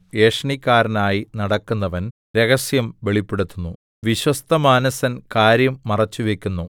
ഏഷണിക്കാരനായി നടക്കുന്നവൻ രഹസ്യം വെളിപ്പെടുത്തുന്നു വിശ്വസ്തമാനസൻ കാര്യം മറച്ചുവയ്ക്കുന്നു